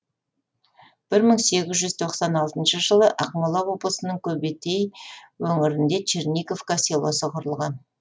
бір мың сегіз жүз тоқсан алтыншы жылы ақмола облысының көбетей өңірінде черниговка селосы құрылған